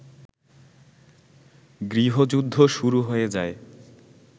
গৃহযুদ্ধ শুরু হয়ে যায়